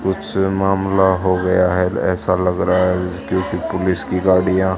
कुछ मामला हो गया है ऐसा लग रहा है क्योंकि पुलिस की गाड़ियां--